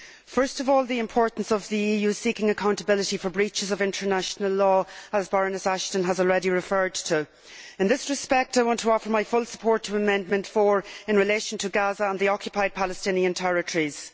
First of all, the importance of the EU seeking accountability for breaches of international law, to which Baroness Ashton has already referred. In this respect I want to offer my full support for Amendment 4 in relation to Gaza and the Occupied Palestinian Territories.